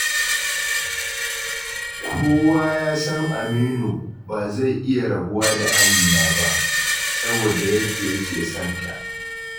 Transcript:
Kowa ya san Aminu ba zai iya rabuwa da Amina ba, saboda yadda yake sonta.